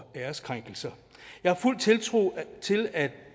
æreskrænkelser jeg har fuld tiltro til at